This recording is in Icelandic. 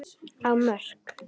á Mörk.